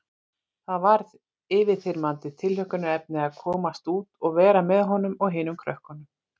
Það varð yfirþyrmandi tilhlökkunarefni að komast út og vera með honum og hinum krökkunum.